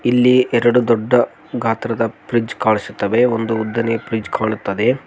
ಇಲ್ಲಿ ಎರಡು ದೊಡ್ಡ ಗಾತ್ರದ ಫ್ರಿಡ್ಜ್ ಕಾಣಿಸುತ್ತವೆ ಒಂದು ಉದ್ದನೆಯ ಫ್ರಿಡ್ಜ್ ಕಾಣುತ್ತದೆ.